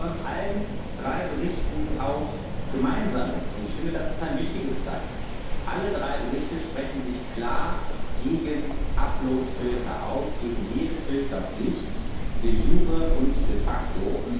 Aber was allen drei Berichten auch gemeinsam ist und ich finde, das ist ein wichtiges Zeichen alle drei Berichte sprechen sich klar gegen Uploadfilter aus, gegen jede Filterpflicht de jure und de facto